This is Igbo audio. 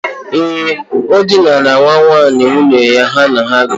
Ee, o dinara nwa nwaanyị nwunye ya ha na ya bi.